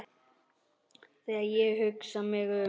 Þegar ég hugsa mig um